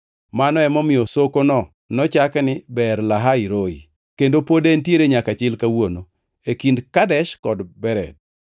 Mano emomiyo sokono nochaki ni Beer-Lahai-Roi + 16:14 Beer-Lahai-Roi tiende ni Jehova Nyasaye Maneno.; kendo pod entiere nyaka chil kawuono, e kind Kadesh kod Bered.